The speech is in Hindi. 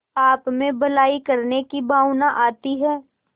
आपमें भलाई करने की भावना आती है